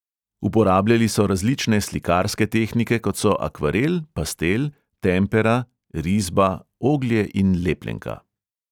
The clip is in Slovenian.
Uporabljali so različne slikarske tehnike, kot so akvarel, pastel, tempera, risba, oglje in lepljenka.